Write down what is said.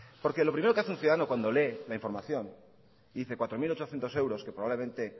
porque lo primero que hace un ciudadano cuando lee la información y dice cuatro mil ochocientos euros que probablemente